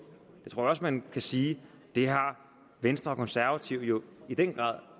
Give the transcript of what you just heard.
og jeg tror også man kan sige at det har venstre og konservative jo i den grad